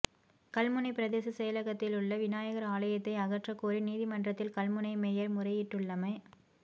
கல்முனை பிரதேச செயலகத்திலுள்ள விநாயகர் ஆலயத்தை அகற்றகோரி நீதிமன்றத்தில் கல்முனை மேயர் முறையிட்டுள்ளம